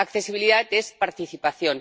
Accesibilidad es participación